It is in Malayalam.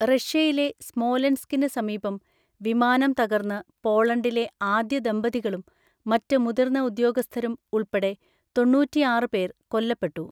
റഷ്യയിലെ സ്മോലെൻസ്‌കിന് സമീപം വിമാനം തകർന്ന് പോളണ്ടിലെ ആദ്യ ദമ്പതികളും മറ്റ് മുതിർന്ന ഉദ്യോഗസ്ഥരും ഉൾപ്പെടെ തൊണ്ണൂറ്റിആറ് പേർ കൊല്ലപ്പെട്ടു.